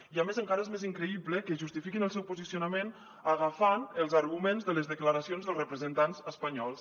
i a més encara és més increïble que justifiquin el seu posicionament agafant els arguments de les declaracions dels representants espanyols